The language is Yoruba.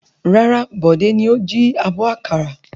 Rárá, Bọ̀dé ni ó jí abọ́ àkàrà.